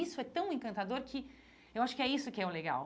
Isso é tão encantador que eu acho que é isso que é o legal.